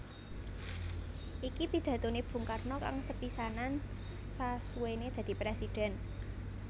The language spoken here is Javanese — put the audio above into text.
Iki pidatoné Bung Karno kang sepisanan sasuwéné dadi Présidèn